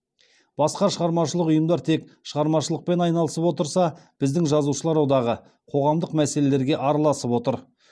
басқа шығармашылық ұйымдар тек шығармашылықпен айналысып отырса біздің жазушылар одағы қоғамдық мәселелерге араласып отыр